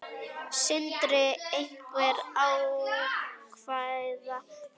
Sindri: Einhver ákveðin tala?